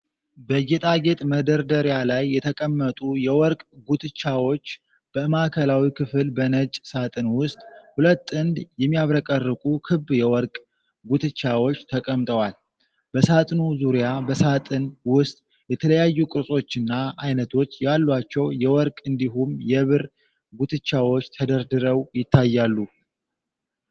በጌጣጌጥ መደርደሪያ ላይ የተቀመጡ የወርቅ ጉትቻዎች በማዕከላዊው ክፍል፣ በነጭ ሳጥን ውስጥ ሁለት ጥንድ የሚያብረቀርቁ ክብ የወርቅ ጉትቻዎች ተቀምጠዋል። በሳጥኑ ዙሪያ በሳጥን ውስጥ የተለያዩ ቅርጾችና አይነቶች ያሏቸው የወርቅ እንዲሁም የብር ጉትቻዎች ተደርድረው ይታያሉ።